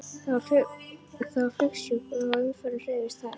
Það var flygsufjúk og umferðin hreyfðist hægt.